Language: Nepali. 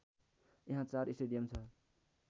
यहाँ चार स्टेडियम छ